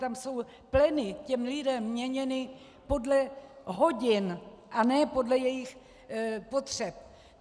Tam jsou pleny těm lidem měněny podle hodin a ne podle jejich potřeb.